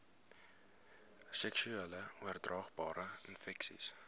seksueel oordraagbare infeksies